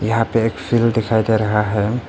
यहां पे एक फील्ड दिखाई दे रहा है।